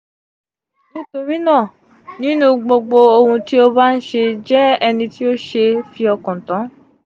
nitorina ninu gbogbo ohun ti o ba nṣe jẹ eniti o se fi okan tan.